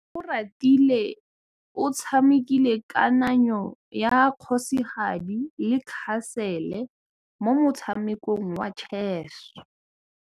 Oratile o tshamekile kananyô ya kgosigadi le khasêlê mo motshamekong wa chess.